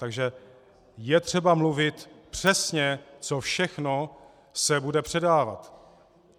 Takže je třeba mluvit přesně, co všechno se bude předávat.